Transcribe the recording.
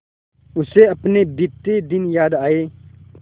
उसे अपने बीते दिन याद आए